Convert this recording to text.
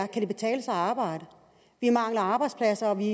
kan betale sig at arbejde vi mangler arbejdspladser og vi